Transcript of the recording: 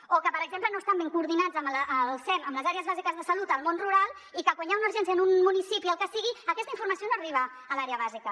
o que per exemple no estan ben coordinats el sem amb les àrees bàsiques de salut al món rural i quan hi ha una urgència en un municipi el que sigui aquesta informació no arriba a l’àrea bàsica